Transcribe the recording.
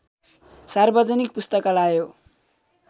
सार्वजनिक पुस्तकालय हो